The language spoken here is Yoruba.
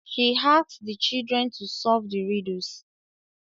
She asked the children to solve the riddles